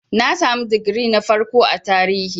Na sami digiri na farko a Tarihi.